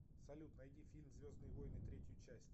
салют найди фильм звездные войны третью часть